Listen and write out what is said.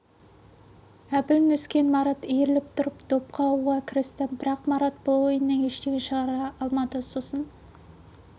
әбіл нүскен марат иіріліп тұрып доп қағуға кірісті бірақ марат бұл ойыннан ештеңе шығара алмады сосын